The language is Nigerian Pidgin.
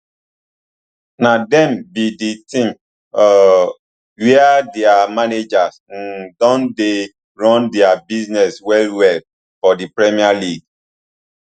na dem be di team um wia dia managers um don dey run dia business well well for di premier league